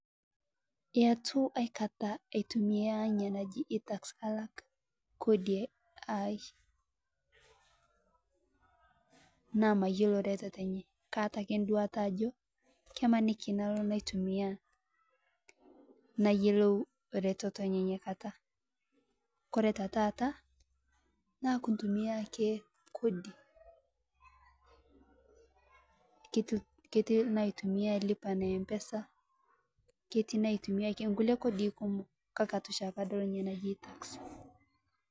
Etuu aikataa aitumia inia najii Itax alak kodii aai naa mayeloo retetoo enyee kaata akee nduata ajo kemanikii nalo naitumiaya nayolou retetoo enyee inia kataa Kore te taata naa kuntumia akee kodi keti naitumia lipa na mpesa keti naitumia nkulie kodii kumoo kakee etu shaake adol inia najii itax